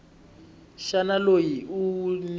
xana loyi u n wi